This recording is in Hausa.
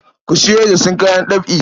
Ku sayo isassun kayan ɗab'i.